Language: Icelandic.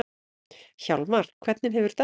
Hjálmar, hvernig hefur dagurinn verið?